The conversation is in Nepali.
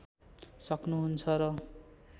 सक्नु हुन्छ र